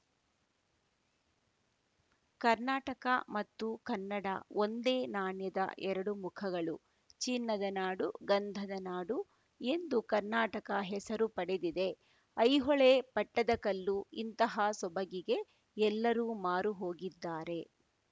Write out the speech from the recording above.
ಕರ್ನಾಟಕ ಮತ್ತು ಕನ್ನಡ ಒಂದೇ ನಾಣ್ಯದ ಎರಡು ಮುಖಗಳು ಚಿನ್ನದ ನಾಡು ಗಂಧದ ನಾಡು ಎಂದು ಕರ್ನಾಟಕ ಹೆಸರು ಪಡೆದಿದೆ ಐಹೊಳೆ ಪಟ್ಟದಕಲ್ಲು ಇಂತಹ ಸೊಬಗಿಗೆ ಎಲ್ಲರೂ ಮಾರುಹೋಗಿದ್ದಾರೆ